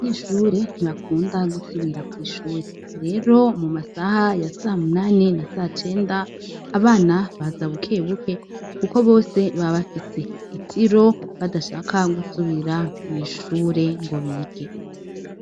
Nishure ntibakunda gusubira kw'ishure rero mu masaha ya samunani na sa cenda abana baza bukebuke, kuko bose babafise itiro badashaka gusubira mw'ishure ngo bige.